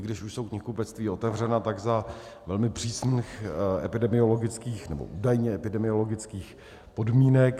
I když už jsou knihkupectví otevřena, tak za velmi přísných epidemiologických - nebo údajně epidemiologických - podmínek.